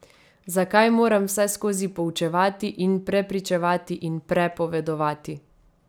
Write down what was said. Zakaj moram vseskozi poučevati in prepričevati in prepovedovati?